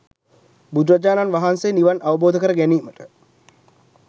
බුදුරජාණන් වහන්සේ නිවන් අවබෝධ කර ගැනීමට